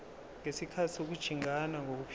ngesikhathi sokujingana nokuphithiza